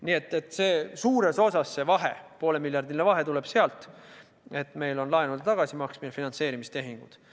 Nii et suures osas see poolemiljardiline vahe tuleb sellest, et meil toimub laenude tagasimaksmine ja me teeme finantseerimistehinguid.